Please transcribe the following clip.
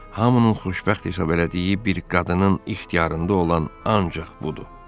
Hamının xoşbəxt hesab elədiyi bir qadının ixtiyarında olan ancaq budur.